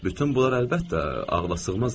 Bütün bunlar əlbəttə ağlasığmaz idi.